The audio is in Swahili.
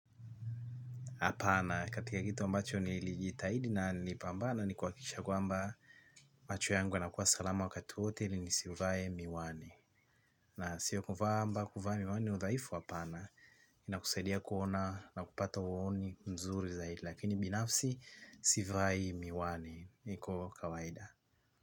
Apana katika kitu ambacho nilijitahidi na nilipambana ni kuhakikisha kwamba, macho yangu yanakuwa salama wakati wote ili nisivae miwani. Na sio kuvaa ama kuvaa miwani ni udhaifu apana. Inakusaidia kuona na kupata uoni mzuri zaidi lakini binafsi sivai miwani niko kawaida.